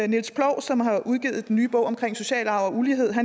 niels ploug som har udgivet den nye bog om social arv og ulighed